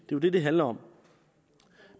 jo det det handler om